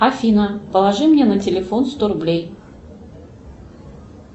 афина положи мне на телефон сто рублей